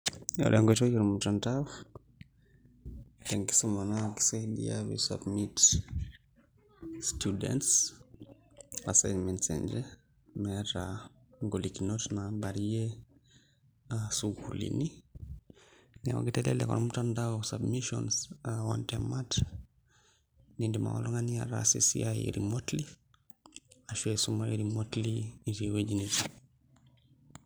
Ore enkoitoi e mutandao te enkisuma naa kisaidia pee isubmmit students assinments enye meeta ingolikinot naabayarie sukuulini neeku kitelelek ormutandao submissions aa oontemat niidim ake oltung'ani ataasa esiai remotely ashu aisumayu remotely itii ewueji nitii.